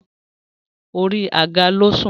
orí àga ló sùn